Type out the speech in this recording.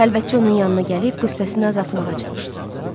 Xəlvətçi onun yanına gəlib qüssəsini azaltmağa çalışdı.